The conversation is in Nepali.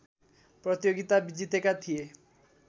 प्रतियोगिता जितेका थिए